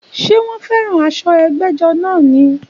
Ṣé wọ́n fẹ́ràn aṣọ ẹgbẹ́jọ́ náà ni?